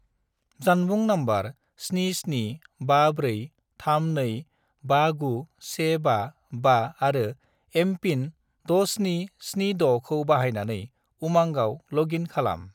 जानबुं नम्बर 77543259155 आरो एम.पिन. 6776 खौ बाहायनानै उमांआव लग इन खालाम।